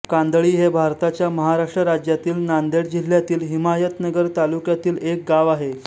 कांदळी हे भारताच्या महाराष्ट्र राज्यातील नांदेड जिल्ह्यातील हिमायतनगर तालुक्यातील एक गाव आहे